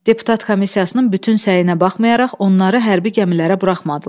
Deputat komissiyasının bütün səyinə baxmayaraq onları hərbi gəmilərə buraxmadılar.